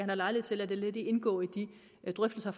lejlighed til at lade det indgå i de drøftelser